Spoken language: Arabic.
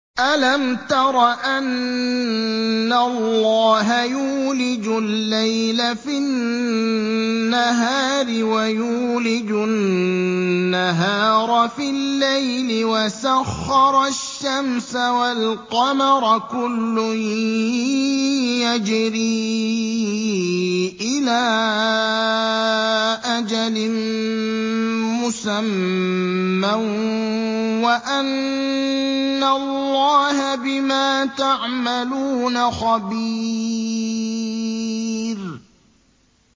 أَلَمْ تَرَ أَنَّ اللَّهَ يُولِجُ اللَّيْلَ فِي النَّهَارِ وَيُولِجُ النَّهَارَ فِي اللَّيْلِ وَسَخَّرَ الشَّمْسَ وَالْقَمَرَ كُلٌّ يَجْرِي إِلَىٰ أَجَلٍ مُّسَمًّى وَأَنَّ اللَّهَ بِمَا تَعْمَلُونَ خَبِيرٌ